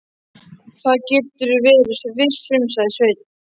Það geturðu verið viss um, sagði Sveinn.